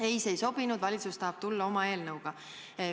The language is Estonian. Ei, see ei sobinud, valitsus tahab tulla oma eelnõuga.